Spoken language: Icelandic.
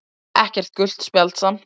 Ekkert gult spjald samt